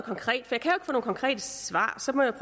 og konkrete svar så må jeg